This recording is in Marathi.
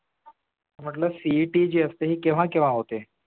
म्हटलं CET जी असते ती केव्हा केव्हा होते